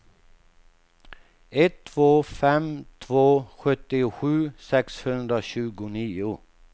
ett två fem två sjuttiosju sexhundratjugonio